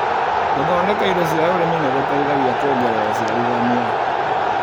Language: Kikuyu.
Gũthondeka indo cia ũrĩmi nĩgũteithagia kuongerera ũciarithania.